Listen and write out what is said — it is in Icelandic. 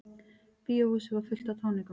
Bíóhúsið var fullt af táningum.